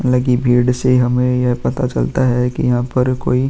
लगी भीड़ से हमें यह पता चलता है कि यहाँ पर कोई --